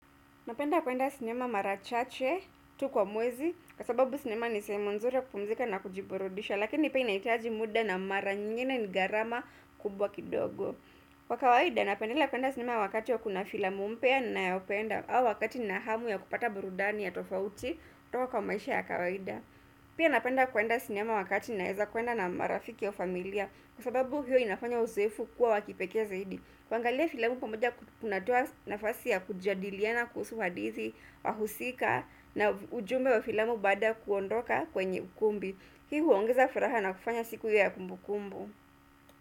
Napenda kuenda sinema mara chache tu kwa mwezi, kwa sababu sinema ni sehemu nzuri ya kupumzika na kujiburudisha. Lakini pia ina hitaji muda, na mara nyingine ni gharama kubwa kidogo. Kwa kawaida, napendelea kuenda sinema wakati ya kuna filamu mpya ninayopenda, au wakati nahamu ya kupata burudani ya tofauti kutoka kwa maisha ya kawaida. Pia napenda kuenda sinema wakati naeza kuenda na marafiki au familia, kwa sababu hiyo inafanya usefu kuwa wa kipekee zaidi. Kuangalia filamu pamoja kuna toa nafasi ya kujadiliana kuhusu hadithi, wahusika na ujumbe wa filamu baada ya kuondoka kwenye ukumbi. Hii huongeza furaha na kufanya siku ya kumbu kumbu.